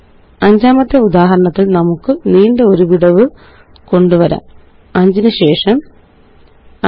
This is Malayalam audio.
അഞ്ചാമത്തെ ഉദാഹരണത്തില് നമുക്ക് നീണ്ട ഒരു വിടവ് കൊണ്ടുവരാം 5 നു ശേഷം5